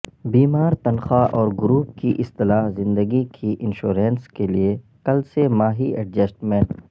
بیمار تنخواہ اور گروپ کی اصطلاح زندگی کی انشورینس کے لئے کل سہ ماہی ایڈجسٹمنٹ